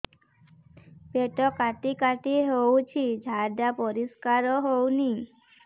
ପେଟ କାଟି କାଟି ହଉଚି ଝାଡା ପରିସ୍କାର ହଉନି